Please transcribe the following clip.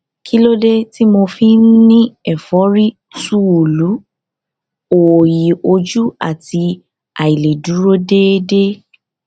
kí ló dé tí mo fi ń ní ẹfọrí túúlu òòyì ojú àti àìlèdúró déédé